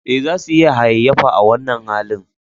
Eh, za su iya hayayyafa a wannan halin